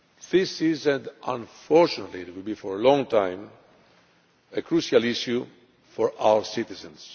This is and unfortunately will be for a long time a crucial issue for our citizens.